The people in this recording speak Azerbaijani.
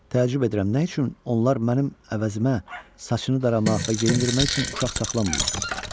Təəccüb edirəm, nə üçün onlar mənim əvəzimə saçını daramaq və geyindirmək üçün uşaq saxlamırlar?